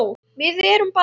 Við erum bara við